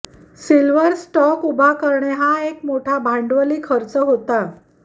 silver stock उभा करणे हा एक मोठा भांडवली खर्च होता